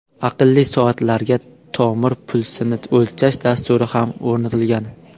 Aqlli soatlarga tomir pulsini o‘lchash dasturi ham o‘rnatilgan.